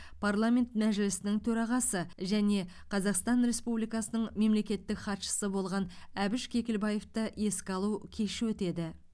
парламент мәжілісінің төрағасы және қазақстан республикасының мемлекеттік хатшысы болған әбіш кекілбаевты еске алу кеші өтеді